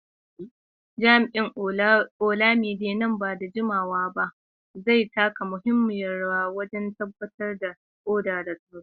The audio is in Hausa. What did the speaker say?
Jami’in Olamide, nan ba da jimawa ba zai taka muhimmiyar rawa wajen tabbatar da oda da tsaro.